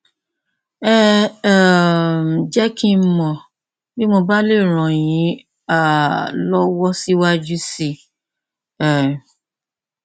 ẹ um jẹ kí n mọ bí mo bá lè ràn yín um lọwọ síwájú sí i um